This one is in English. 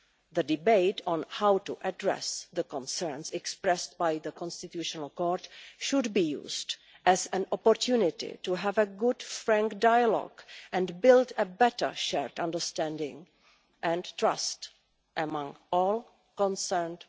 The debate on how to address the concerns expressed by the Constitutional Court should be used as an opportunity to have a good, frank dialogue and build a better shared understanding and trust among all parties concerned.